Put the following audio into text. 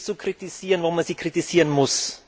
Die EU ist zu kritisieren, wo man sie kritisieren muss.